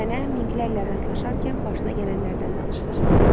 Sənə minklərlə rastlaşarkən başına gələnlərdən danışar.